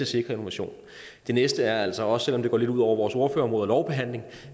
sikre innovation det næste er altså også selv om det går lidt ud over vores ordførerområde og lovbehandlingen